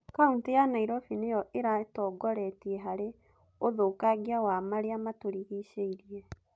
Kautĩ ya Nairobi nĩyo ĩratongoretie hari ũthũkangia wa marĩa matũrigicĩirie